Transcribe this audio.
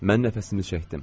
Mən nəfəsimi çəkdim.